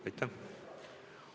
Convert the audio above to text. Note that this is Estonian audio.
Aitäh!